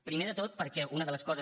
primer de tot perquè una de les coses